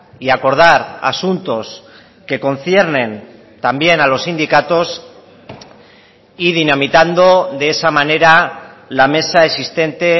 y acordar asuntos que conciernen también a los sindicatos y dinamitando de esa manera la mesa existente